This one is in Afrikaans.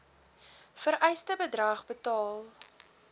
vereiste bedrag betaal